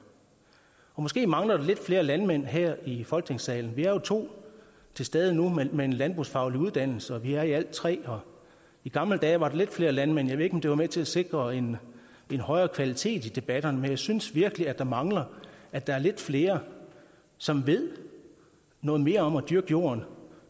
måske mangler vi lidt flere landmænd her i folketingssalen vi er jo to til stede nu med en landbrugsfaglig uddannelse og vi er i alt tre her i gamle dage var der lidt flere landmænd jeg ved ikke om det var med til at sikre en en højere kvalitet i debatterne men jeg synes virkelig der mangler at der er lidt flere som ved noget mere om at dyrke jorden og